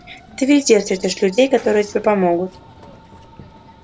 ты везде встретишь людей которые тебе помогут